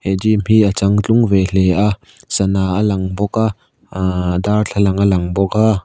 he gym hi a changtlung ve hle a sana a lang bawk a aahh darthlalang a lang bawk a.